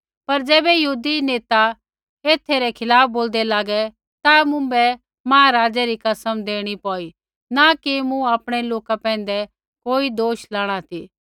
पर ज़ैबै यहूदी नेता एथै रै खिलाफ़ बोलदै लागै ता मुँभै महाराज़ै री कसम देणी पौई न कि मूँ आपणै लोका पैंधै कोई दोष लाणा ती